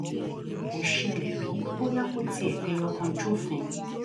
kò ṣẹlẹ rí bóyá kò tiẹ fẹyọ kan jófin